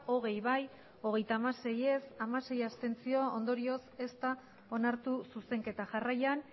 hogei bai hogeita hamasei ez hamasei abstentzio ondorioz ez da onartu zuzenketa jarraian